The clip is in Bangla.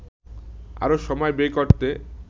আরও সময় ব্যয় করতে